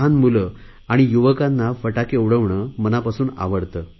लहान मुले आणि युवकांना फटाके उडविणे मनापासून आवडते